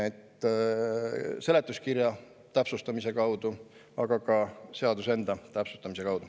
Seda tuleks teha seletuskirja täpsustamise kaudu, aga ka seaduse enda täpsustamise kaudu.